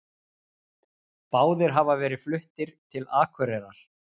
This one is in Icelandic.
Báðir hafa verið fluttir til Akureyrar